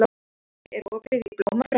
Hafey, er opið í Blómabrekku?